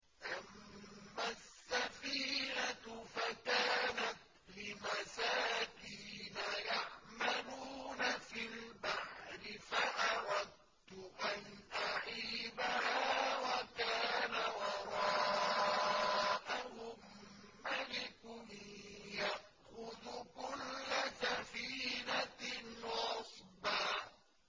أَمَّا السَّفِينَةُ فَكَانَتْ لِمَسَاكِينَ يَعْمَلُونَ فِي الْبَحْرِ فَأَرَدتُّ أَنْ أَعِيبَهَا وَكَانَ وَرَاءَهُم مَّلِكٌ يَأْخُذُ كُلَّ سَفِينَةٍ غَصْبًا